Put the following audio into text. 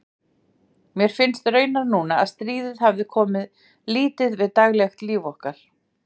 Mér finnst raunar núna, að stríðið hafi komið lítið við daglegt líf okkar.